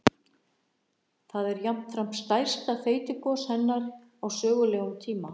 Það er jafnframt stærsta þeytigos hennar á sögulegum tíma.